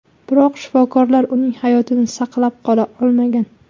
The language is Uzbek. Biroq shifokorlar uning hayotini saqlab qola olmagan.